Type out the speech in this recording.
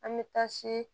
An bɛ taa se